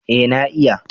Ee na iya.